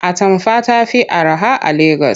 Atamfa ta fi araha a Legas.